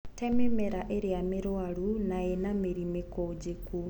Te mĩmera ĩrĩa mĩrwaru na ĩnamĩri mĩkũnjiku.